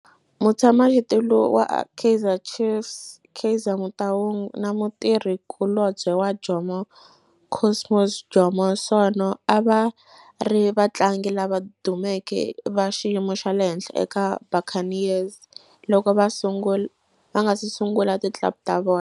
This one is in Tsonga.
Mutshama xitulu wa Kaizer Chiefs Kaizer Motaung na mutirhi kulobye wa Jomo Cosmos Jomo Sono a va ri vatlangi lava dumeke va xiyimo xa le henhla eka Buccaneers loko va nga si sungula ti club ta vona.